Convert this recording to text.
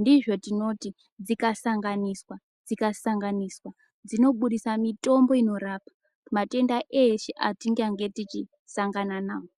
ndizvo tinoti dzikasanganiswa dzikasanganiswa dzinobudisa mitombo inorapa matenda eshe atingange tichisangana nawo.